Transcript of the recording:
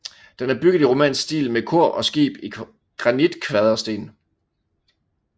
Den er bygget i romansk stil med kor og skib i granitkvadersten